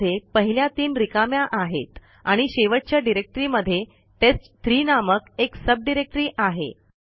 त्यामध्ये पहिल्या तीन रिकाम्या आहेत आणि शेवटच्या डिरेक्टरीमध्ये टेस्ट3 नामक एक सब डिरेक्टरी आहे